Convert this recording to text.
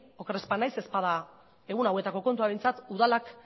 oker ez banaiz ez bada egun hauetako kontua behintzat udalak